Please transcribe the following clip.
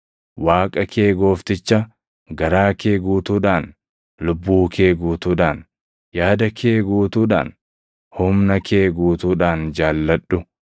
Waaqa kee Goofticha garaa kee guutuudhaan, lubbuu kee guutuudhaan, yaada kee guutuudhaan, humna kee guutuudhaan jaalladhu.’ + 12:30 \+xt KeD 6:4,5\+xt*